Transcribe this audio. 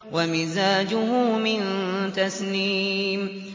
وَمِزَاجُهُ مِن تَسْنِيمٍ